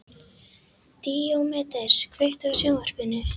Díómedes, kveiktu á sjónvarpinu.